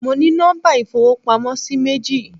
Mo ní nọ́mbà ìfowópamósí méjì